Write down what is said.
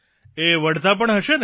એ વઢતા પણ હશે ને